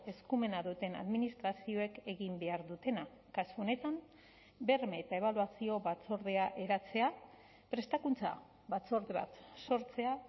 eskumena duten administrazioek egin behar dutena kasu honetan berme eta ebaluazio batzordea eratzea prestakuntza batzorde bat sortzea